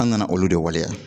An nana olu de waleya